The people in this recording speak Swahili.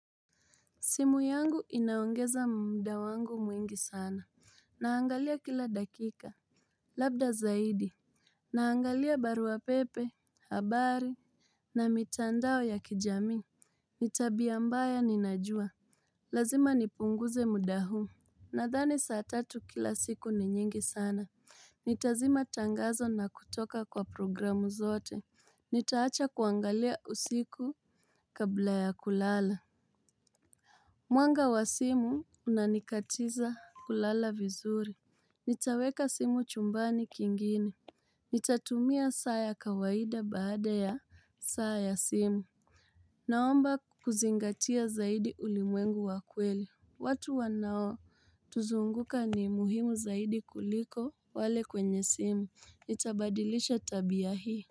Simu yangu inaongeza mda wangu mwingi sana. Naangalia kila dakika. Labda zaidi. Naangalia barua pepe, habari, na mitandao ya kijami. Ni tabia mbaya ninajua. Lazima nipunguze muda huu. Nadhani saa tatu kila siku ni nyingi sana. Nitazima tangazo na kutoka kwa programu zote. Nitaacha kuangalia usiku kabla ya kulala. Mwanga wa simu unanikatiza kulala vizuri. Nitaweka simu chumbani kingine. Nitatumia saa ya kawaida baada ya saa ya simu. Naomba kuzingatia zaidi ulimwengu wa kweli. Watu wanaotuzunguka ni muhimu zaidi kuliko wale kwenye simu. Nitabadilisha tabia hii.